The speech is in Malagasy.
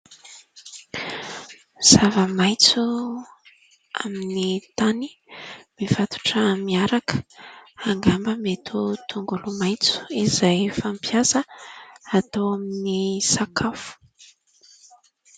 Zava-maitso amin'ny tany mifatotra miaraka angamba mety ho tongolomaitso izay fampiasa atao amin'ny sakafo.